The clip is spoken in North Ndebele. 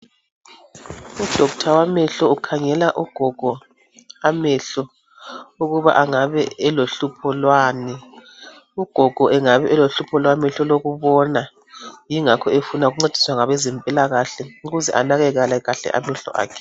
Udokotela wamehlo ukhangelele ugogo amehlo ukuba angabe elohlupho lwani. Ugogo engabe elohlupho lwamehl' olokubona, yingakho efuna ukuncediswa ngabezempilakahle ukuze anakekele kahle amehlo akhe.